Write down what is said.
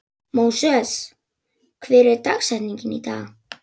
Móses, hver er dagsetningin í dag?